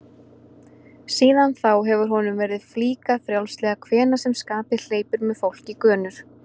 Síðan þá hefur honum verið flíkað frjálslega hvenær sem skapið hleypur með fólk í gönur.